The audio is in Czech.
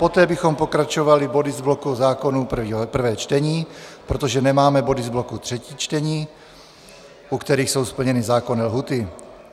Poté bychom pokračovali body z bloku zákonů prvé čtení, protože nemáme body z bloku třetí čtení, u kterých jsou splněny zákonné lhůty.